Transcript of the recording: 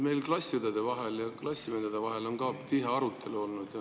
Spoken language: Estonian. Meil on klassiõdede ja klassivendade vahel ka tihe arutelu olnud.